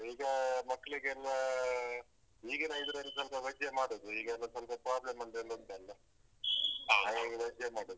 ಈಗಾ ಮಕ್ಕ್ಳಿಗೆಲ್ಲಾ ಈಗಿನ ಇದ್ರಲ್ಲಿ ಸ್ವಲ್ಪ veg ಮಾಡುದು ಈಗೆಲ್ಲ ಸ್ವಲ್ಪ problem ಒಂದ್ ಎಲ್ಲ ಉಂಟಲ್ಲ ಹಾಗಾಗಿ veg ಮಾಡುದು